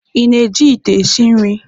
Ị na-eji ite esi nri?